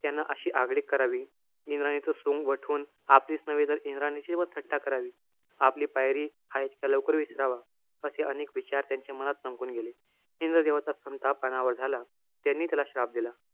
त्यानं अशी आगळीक करावी, इंद्राणीचं सोंग वठून आपलीच नव्हे तर इंद्राणीची पण थट्टा करावी. आपली पायरी हा इतक्या लवकर विसरावा. असे अनेक विचार त्यांच्या मनात चमकून गेले. इंद्रदेवाचा संताप अनावर झाला. त्यांनी त्याला श्राप दिला.